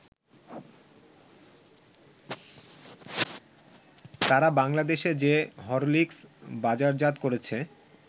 তারা বাংলাদেশে যে হরলিকস বাজারজাত করেছে